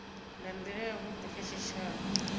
nga ndila yavhudi kha tshitshavha